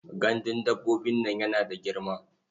Gandun dabbobin yana da girma.